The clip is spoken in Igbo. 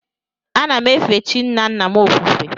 Ana m efe chi nna nna m ofufe.